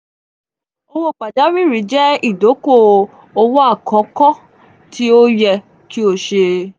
owo pajawiri jẹ idoko-owo akọkọ ti o yẹ ki o ṣe.